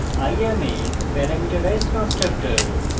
i am a parameterized constructor